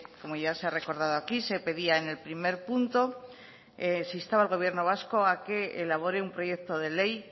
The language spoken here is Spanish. como ya se ha recordado aquí se pedía en el primer punto se instaba al gobierno vasco a que elabore un proyecto de ley